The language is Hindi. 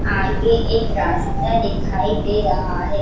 आगे एक रास्ता दिखाई दे रहा है।